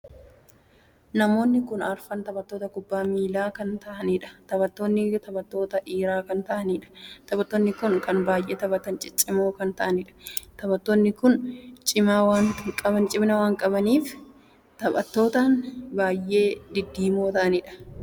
Namoonni kun arfan taphattoota kubbaa miillaa kan tahanidha. taphattoonni taphattoota dhiiraa kan tahanidha. Taphattoonni kun kan baay'ee taphatti ciccimoo kan ta'anidha. taphattoonni kun cima waamaa kan qabaniidha. taphattoonni kun baay'ee diddiimoo kan tahaanidha. Namoonni baay'ees akkuma taphattoota kanaa kubbaa miillaa taphachuuf ni jaallatu.